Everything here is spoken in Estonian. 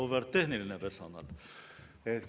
Auväärt tehniline personal!